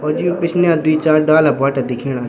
और ज्यू पिछने दुई चार डाला बुटा दिखेणा।